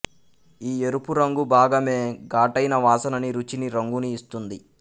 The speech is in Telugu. ఈ ఎరుపురంగు భాగమే ఘాటైన వాసననీ రుచినీ రంగునీ ఇస్తుంది